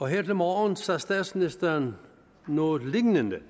her til morgen sagde statsministeren noget lignende